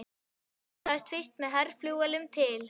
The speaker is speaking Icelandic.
Hann ferðaðist fyrst með herflugvélum til